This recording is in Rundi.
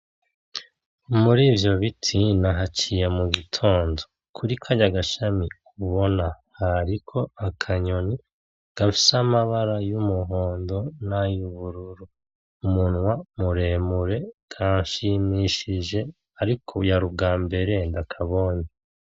Murivyo biti nahaciye mugitondo. kuri kariya gashami ubona hariko akanyoni gafise amabara yumuhondo nayubururu umunwa muremure kanshimishije ariko yarubwambere ndakabonye.